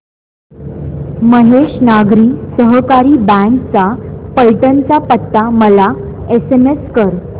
महेश नागरी सहकारी बँक चा पैठण चा पत्ता मला एसएमएस कर